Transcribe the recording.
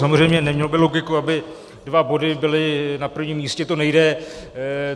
Samozřejmě, nemělo by logiku, aby dva body byly na prvním místě, to nejde.